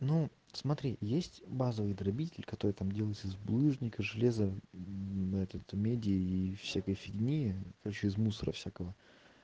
ну смотри есть базовый грабитель который там делается из булыжника железо на этот меди и всякой фигни короче из мусора всякого